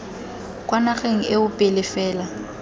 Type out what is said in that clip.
kwa nageng eo pele fela